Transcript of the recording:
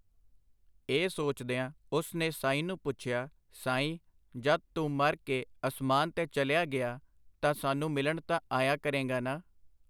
ਇਹ ਸੋਚਦਿਆਂ ਉਸ ਨੇ ਸਾਈਂ ਨੂੰ ਪੁੱਛਿਆ, ਸਾਈਂ, ਜਦ ਤੂੰ ਮਰ ਕੇ ਅਸਮਾਨ ਤੇ ਚਲਿਆ ਗਿਆ ਤਾਂ ਸਾਨੂੰ ਮਿਲਣ ਤਾਂ ਆਇਆ ਕਰੇਂਗਾ ਨਾ?.